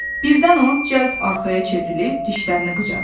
Birdən o cəld arxaya çevrilib dişlərini qıcadı.